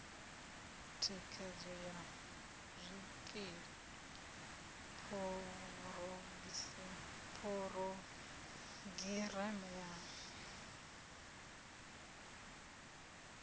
thikhedzo ya zwikili phurogireme ya